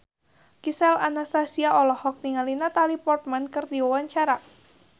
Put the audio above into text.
Gisel Anastasia olohok ningali Natalie Portman keur diwawancara